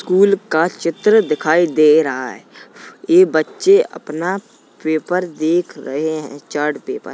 School का चित्र दिखाई दे रहा है ये बच्चे अपना पेपर देख रहे हैं चार्ट पेपर ।